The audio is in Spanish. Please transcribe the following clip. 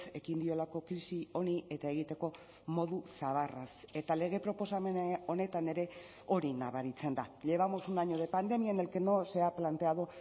ekin diolako krisi honi eta egiteko modu zabarraz eta lege proposamen honetan ere hori nabaritzen da llevamos un año de pandemia en el que no se ha planteado